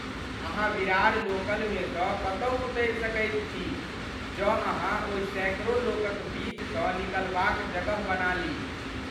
अहाँ विरार लोकलमेसँ कतहु उतरि सकैत छी जँ अहाँ ओहि सैकड़ो लोकक बीचसँ निकलबाक जगह बना ली।